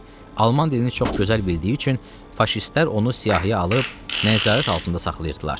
Alman dilini çox gözəl bildiyi üçün faşistlər onu siyahıya alıb nəzarət altında saxlayırdılar.